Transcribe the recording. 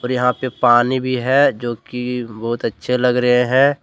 और यहां पे पानी भी है जो कि बहुत अच्छे लग रहे हैं।